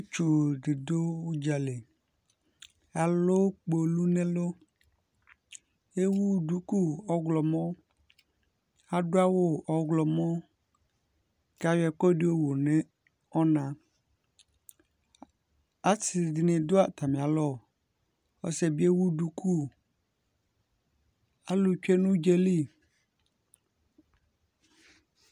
Ɔsiɛtsu di dʋ udza li Alʋ kpolu n'ɛlʋ Ewu duku ɔwlɔmɔ Adʋ awʋ ɔwlɔmɔ kʋ ayɔ ɛkʋɛdi yɔwu nʋ ɔna Asi di ni dʋ atami alɔ, ɔsi ɛ bi ewu duku Alʋ tsue nʋ udza yɛ li